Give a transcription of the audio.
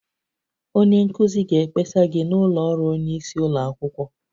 Onye nkuzi ga-ekpesa gị n'ụlọ ọrụ onye isi ụlọ akwụkwọ